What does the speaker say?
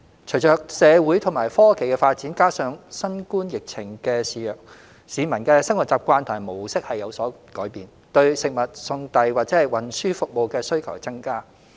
隨着社會和科技發展，加上新冠疫情肆虐，市民的生活習慣和模式有所改變，對食物送遞或運輸服務的需求增加。